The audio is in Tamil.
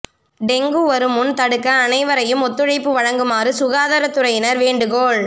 டெங்கு வருமுன் தடுக்க அனைவரையும் ஒத்துழைப்பு வழங்குமாறு சுகாதார துறையினர் வேண்டுகோள்